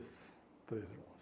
Três irmãos.